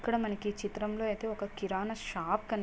ఇక్కడ మనకి చిత్రంలో అయితే ఒక కిరాణా షాప్ కనిపిస్తుం --